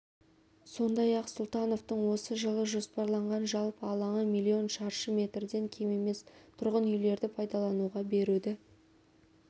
іондай-ақ сұлтановтың осы жылы жоспарланған жалпы алаңы миллион шаршы метрден кем емес тұрғын үйлерді пайдалануға беруді